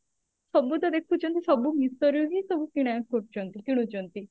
ସବୁ ତ ଦେଖୁଛନ୍ତି ସବୁ meesho ରୁ ହି ସବୁ କିଣା କରୁଛନ୍ତି ସବୁ କିଣୁଛନ୍ତି